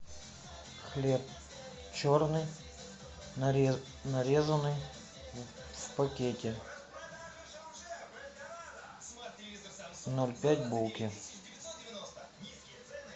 хлеб черный нарезанный в пакете ноль пять булки